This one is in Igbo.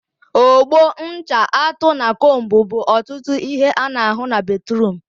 Ogbo, ncha, atụ, na combu bụ ọtụtụ ihe a na ahụ na batruum